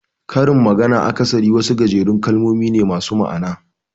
Karin magana akasari wasu gajerun kalmomi ne masu ma'ana.